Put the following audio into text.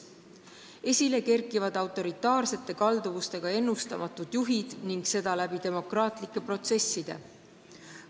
Esile kerkivad autoritaarsete kalduvustega ennustamatud juhid ning seda demokraatlike protsesside vahendusel.